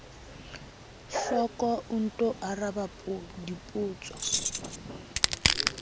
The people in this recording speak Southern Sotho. hloko o nto araba dipotso